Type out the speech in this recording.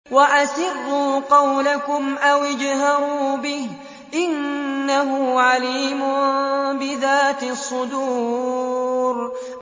وَأَسِرُّوا قَوْلَكُمْ أَوِ اجْهَرُوا بِهِ ۖ إِنَّهُ عَلِيمٌ بِذَاتِ الصُّدُورِ